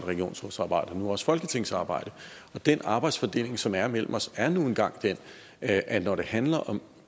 regionsrådsarbejde og nu også folketingsarbejde den arbejdsfordeling som er mellem os er nu engang den at at når det handler om